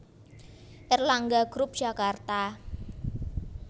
Erlangga group Jakarta